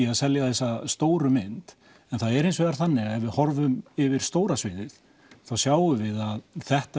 að selja þessa stóru mynd en það er hins vegar þannig að þegar við horfum yfir stóra sviðið sjáum við að þetta